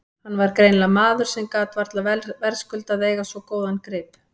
Hann var greinilega maður sem varla gat verðskuldað að eiga svo góðan grip.